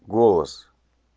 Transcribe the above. голос